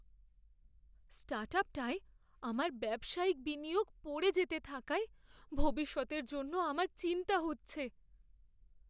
স্টার্টআপটায় আমার ব্যবসায়িক বিনিয়োগ পড়ে যেতে থাকায় ভবিষ্যতের জন্য আমার চিন্তা হচ্ছে।